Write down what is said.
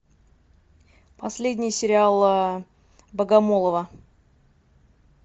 последний сериал богомолова